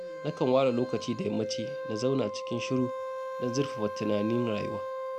Nakan ware lokaci da yammaci na zauna cikin shiru don zurfafa tunanin rayuwa